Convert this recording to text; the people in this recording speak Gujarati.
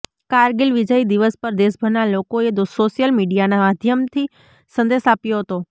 કારગિલ વિજય દિવસ પર દેશભરના લોકોએ સોશિયલ મીડિયાના માધ્યમથી સંદેશ આપ્યો હતો